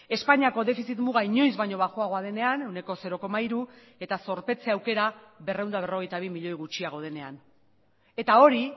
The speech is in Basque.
espainiako defizit muga inoiz baino baxuagoa denean ehuneko zero koma hiru eta zorpetze aukera berrehun eta berrogeita bi milioi gutxiago denean eta hori